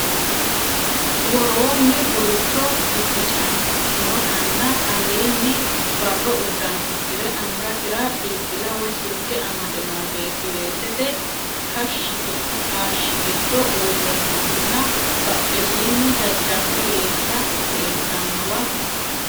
Woroonni gulucho bibbicantinotanna aleenni barro uddano uddire angasira bilbila woy silke amade noo beetti weesete kaashshi giddo uurre noohunna badhesiinni jajjabba weessa leeltannowa.